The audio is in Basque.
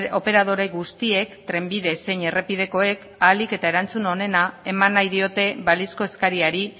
operadore guztiek trenbide zein errepidekoek ahalik eta erantzun onena eman nahi diote balizko eskariari